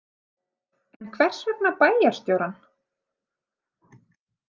En hvers vegna bæjarstjórann?